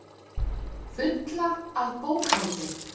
Fulla af bókhaldi.